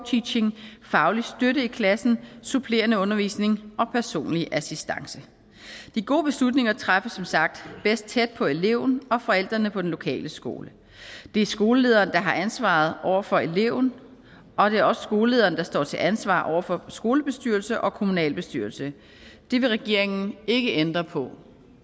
teaching faglig støtte i klassen supplerende undervisning og personlig assistance de gode beslutninger træffes som sagt bedst tæt på eleven og forældrene på den lokale skole det er skolelederen der har ansvaret over for eleven og det er også skolelederen der står til ansvar over for skolebestyrelse og kommunalbestyrelse det vil regeringen ikke ændre på